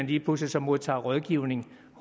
lige pludselig modtager rådgivning